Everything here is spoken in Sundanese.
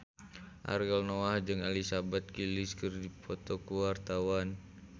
Ariel Noah jeung Elizabeth Gillies keur dipoto ku wartawan